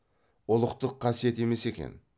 ұлықтық қасиет емес екен